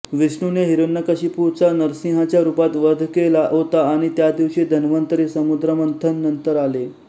विष्णूने हिरण्यकशिपुचा नरसिंहच्या रूपात वध केला होता आणि या दिवशी धन्वंतरि समुद्रमंथन नंतर आले